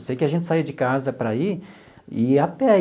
Eu sei que a gente saía de casa para ir e ia a pé.